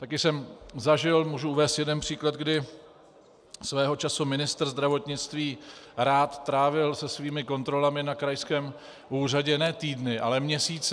Taky jsem zažil, můžu uvést jeden příklad, kdy svého času ministr zdravotnictví Rath trávil se svými kontrolami na krajském úřadě ne týdny, ale měsíce.